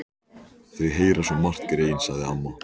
Þau heyra svo margt, greyin, sagði amma.